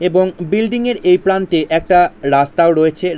এবং বিল্ডিং এর এই প্রান্তে একটা রাস্তাও রয়েছে।